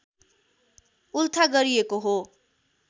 उल्था गरिएको हो